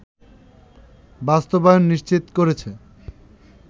বাস্তবায়ন নিশ্চিত করেছে